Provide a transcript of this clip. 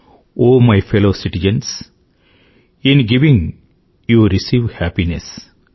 oh my fellow citizens in giving you receive happiness